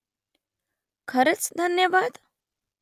खरंच धन्यवाद ?